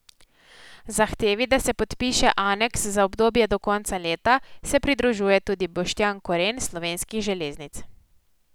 Zahtevi, da se podpiše aneks za obdobje do konca leta, se pridružuje tudi Boštjan Koren s Slovenskih železnic.